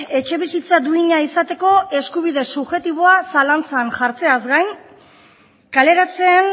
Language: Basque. etxebizitza duina izateko eskubide subjektiboa zalantzan jartzeaz gain kaleratzeen